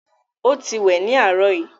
ọ tí wẹ ní arọ yí